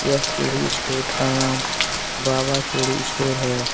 यह चूड़ी स्टोर का नाम बाबा चूड़ी स्टोर है।